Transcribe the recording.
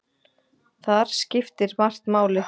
Þar skiptir margt máli.